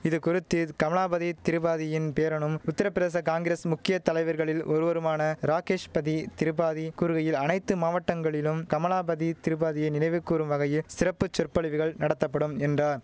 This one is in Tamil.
இதுகுறித்து கமலாபதி திரிபாதியின் பேரனும் உத்திரப்பிரதேச காங்கிரஸ் முக்கிய தலைவர்களில் ஒருவருமான ராகேஷ்பதி திரிபாதி கூறுகையில் அனைத்து மாவட்டங்களிலும் கமலாபதி திரிபாதியை நினைவு கூறும் வகையில் சிறப்பு சொற்பொழிவுகள் நடத்தப்படும் என்றான்